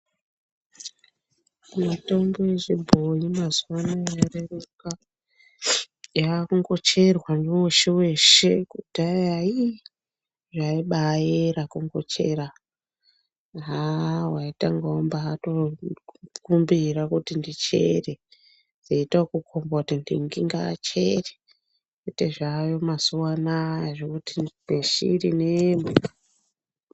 Mitombo yechibhoyi mazuwa ano yareruka yakungocherwa ngeweshe weshe kudhaya ii zvaibayera kungochera . Haa waitanga watokumbira kuti ndichere, kwoita akukomba kuti ntingi achere kwete zvaayo mazuwa anaya zvekuti neshiri nembwa.